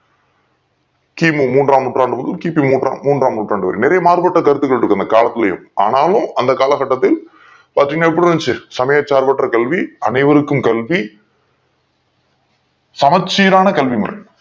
கி. மு மூன்றாம் நூற்றாண்டு கி. பி மூன்றாம் நூற்றாண்டு நிறைய மார்பற்ற கருத்துகள் இருக்கு இந்த காலத்துலையும் ஆனாலும் அந்த கால கட்டத்தில் பாத்திங்கனா எப்டி இருந்துச்சி சமய சார்ப்பற்ற கல்வி அனைவருக்கும் கல்வி சமச்சீறான கல்வி முறை